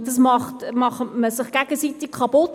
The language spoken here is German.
Damit macht man sich gegenseitig kaputt.